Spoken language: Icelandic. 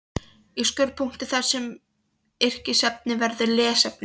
Í skurðpunktinum þar sem yrkisefni verður lesefni